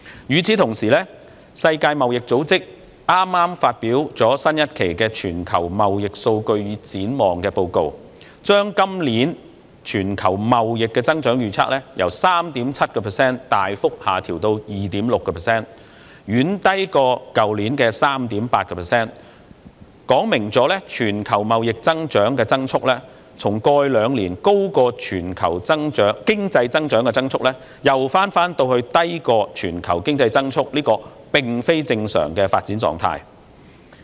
與此同時，世界貿易組織剛剛發表最新一期《全球貿易數據與展望》報告，將今年全球貿易增長預測由 3.7% 大幅下調至 2.6%， 遠低於去年的 3.8%， 說明全球貿易增速從過去兩年的高於全球經濟增速，又返回低於全球經濟增速這個非正常的發展狀態。